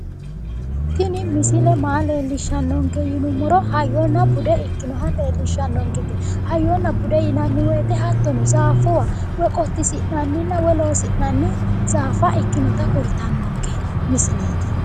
Tini misile maa leellishshannonke yinummoro hayyonna bude ikkinoha leellishshannonkete, hayyona bude yinanni woyiite hattono zaaffuwa woyi qottisinna'yi woyi loosi'nanni zaafa ikkinota kultannonke misileeti.